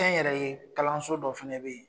Kɛ n yɛrɛ ye kalanso dɔ fɛnɛ be yen